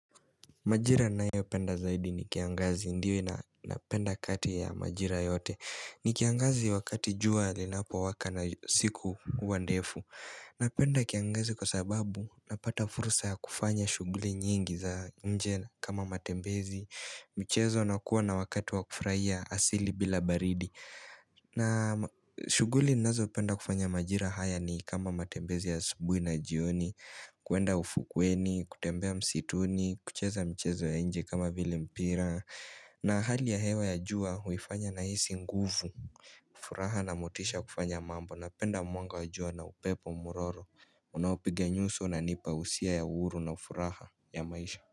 Majira ninayopenda zaidi ni kiangazi ndiyo napenda kati ya majira yote. Ni kiangazi wakati jua linapowaka na siku huwa ndefu. Napenda kiangazi kwa sababu napata fursa ya kufanya shuguli nyingi za nje kama matembezi. Michezo nakuwa na wakati wakufurahia asili bila baridi. Na shuguli nazopenda kufanya majira haya ni kama matembezi ya asubuhi na jioni. Kuenda ufukweni, kutembea msituni, kucheza mchezo ya nje kama vile mpira na hali ya hewa ya jua huifanya na hisi nguvu furaha na motisha kufanya mambo na penda mwanga wa jua na upepo mwororo Unaopiga nyuso unanipa hisia ya uhuru na furaha ya maisha.